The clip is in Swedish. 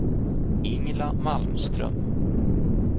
Ingela Malmström